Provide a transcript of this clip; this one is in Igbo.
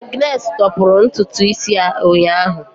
Agnes tọpụrụ ntutu isi ya ụnyahụ.